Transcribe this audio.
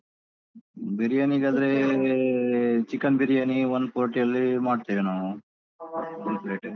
ಬಿರಿಯಾನಿಗಾದ್ರೆ chicken biryani one forty ಅಲ್ಲಿ ಮಾಡ್ತೇವೆ ನಾವು ಒಂದ್ plate.